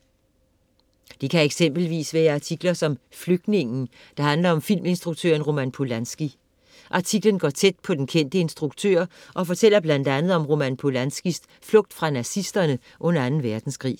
Det kan eksempelvis være artikler som "Flygtningen", der handler om filminstruktøren Roman Polanski. Artiklen går tæt på den kendte instruktør og fortæller blandt andet om Roman Polanskis flugt fra nazisterne under Anden Verdenskrig.